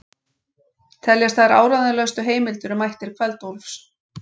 Teljast þær áreiðanlegustu heimildir um ættir Kveld-Úlfs.